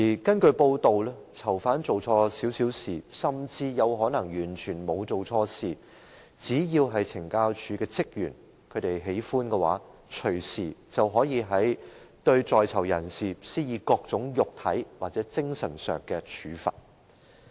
根據報道，如果囚犯稍稍做錯事，甚或可能完全沒有做錯事，只要懲教署職員喜歡，便可以隨時對在囚人士施以各種肉體或精神上的處罰。